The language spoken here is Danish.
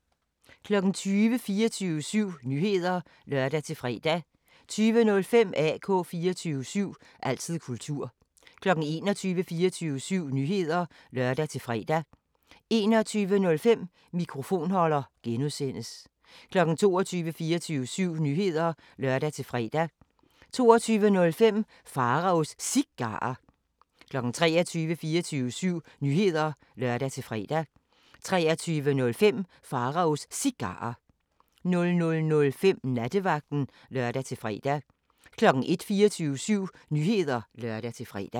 20:00: 24syv Nyheder (lør-fre) 20:05: AK 24syv – altid kultur 21:00: 24syv Nyheder (lør-fre) 21:05: Mikrofonholder (G) 22:00: 24syv Nyheder (lør-fre) 22:05: Pharaos Cigarer 23:00: 24syv Nyheder (lør-fre) 23:05: Pharaos Cigarer 00:05: Nattevagten (lør-fre) 01:00: 24syv Nyheder (lør-fre)